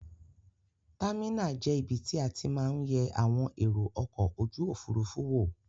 Támìnà je ibi tí a ti ma n ye àwon èrò okò ojúòfurufú wo.